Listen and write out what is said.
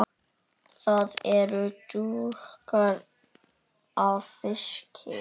Það er drjúgt af fiski.